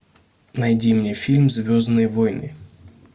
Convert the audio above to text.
найди мне фильм звездные войны